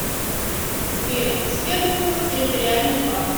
сбер серпухов территориальный банк